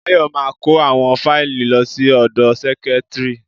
Bayo ma kó àwọn fáìlì lọ sí ọ̀dọ sẹ́kítrì.